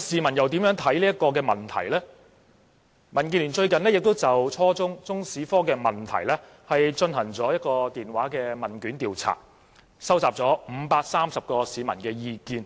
民主建港協進聯盟最近曾就初中中史科進行電話問卷調查，收集了530名市民的意見，